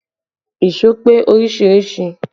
Èṣó pé oríṣiríṣìí